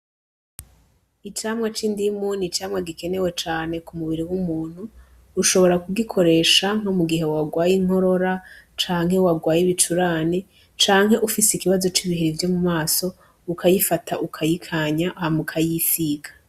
Icamwa c'indimu n'icamwa gikenewe cane ku mubiri w'umuntu ushobora kugikoresha nko mu gihe warwaye inkorora canke warwaye ibicurane canke ufise ikibazo c'ibihere vyo mu maso ukayifata ukayikanya hama ukayisiga.